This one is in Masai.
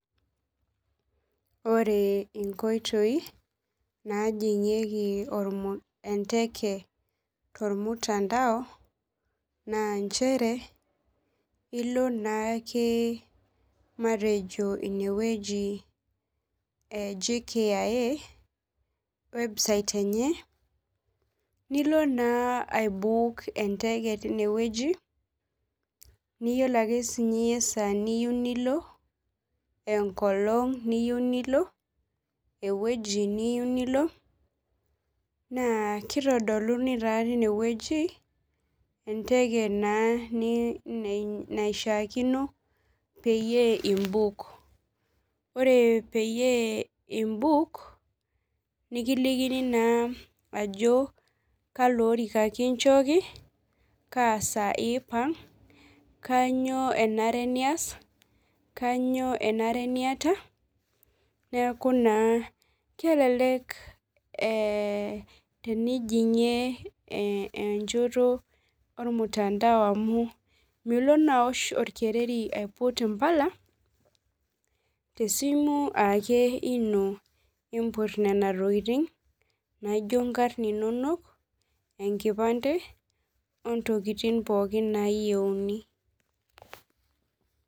Ore inkoitoi najingieki enteke tormutandao na nchere ilo naake matejo inewueji e jkia website enye nilo naa aibuuk enteke tinewueji niyiolo ake esaa niyieu nilo enkolong niyieu nilo ewueji niyieu nilo na kitodoluni taa tinewueji enteke na naishaakinopeyie imbuuk ore peyie imbuuk nikilikini naa ajo kalo orika kichori kaa saa ipang kanyio enare nias kanyio enare niata neaku naa keleke tenijingie enchoto ormutandao amu milo na aiput orkereri aosh impala tesimu ake ino imput nona tokitin naijo enkarn inonok , enkipande ontokitin pookin nayieuni.